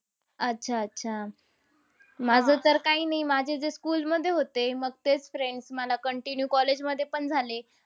अच्छा, अच्छा, अच्छा. माझं तर काही नाही, माझे जे school मध्ये होते. मग तेच friends मला continue college मध्ये पण झाले.